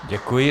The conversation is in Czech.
Děkuji.